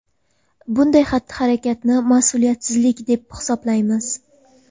Bunday xatti-harakatni ‘mas’uliyatsizlik’ deb hisoblaymiz.